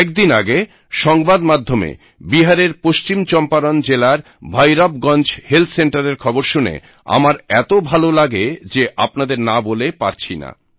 কয়েকদিন আগে সংবাদ মাধ্যমে বিহারের পশ্চিম চম্পারান জেলার ভইরাবগঞ্জ হেলথ সেন্টারের খবর শুনে আমার এতো ভালো লাগে যে আপনাদের না বলে পারছিনা